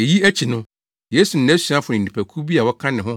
Eyi akyi no, Yesu ne nʼasuafo ne nnipakuw bi a wɔka ne ho